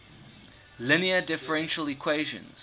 linear differential equations